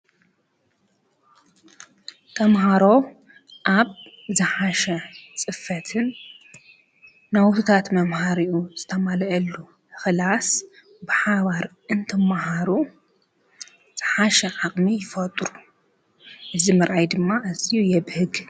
ተምሃሮ ኣብ ዝሓሸ ፅፈትን ናውትታት መምሃሪኡ ዝተማልእሉ ክላስ ብሓባር እንትመሃሩ ዝሓሸ ዓቕሚ ይፈጥሩ። እዚ ምርኣይ ድማ ኣዝዩ የብህግ።